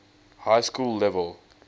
high school level